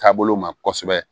Taabolo ma kɔsɛbɛ